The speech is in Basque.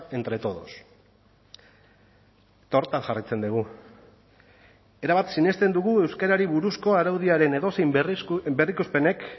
entre todos eta horretan jarraitzen dugu erabat sinesten dugu euskarari buruzko araudiaren edozein berrikuspenek